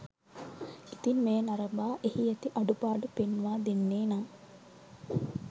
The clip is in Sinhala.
ඉතින් මෙය නරඹා එහි ඇති අඩු පාඩු පෙන්වා දෙන්නේ නම්